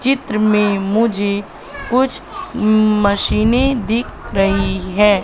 चित्र में मुझे कुछ मशीनें दिख रही है।